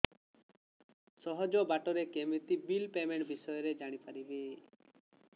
ସହଜ ବାଟ ରେ କେମିତି ବିଲ୍ ପେମେଣ୍ଟ ବିଷୟ ରେ ଜାଣି ପାରିବି